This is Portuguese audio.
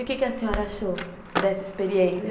E o que a senhora achou dessa experiência?